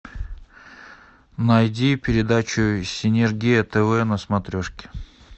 найди передачу синергия тв на смотрешке